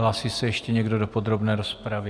Hlásí se ještě někdo do podrobné rozpravy?